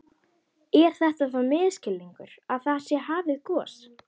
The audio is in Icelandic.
Er þetta þá misskilningur að það sé hafið gos?